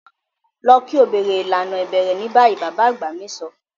Lọ ki o bẹrẹ ilana ibẹrẹ ni bayi! baba agba mi sọ.